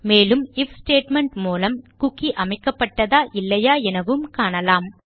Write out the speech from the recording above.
மேலும் if statement மூலம் cookie அமைக்கப்பட்டதா இல்லையா எனவும் காணலாம்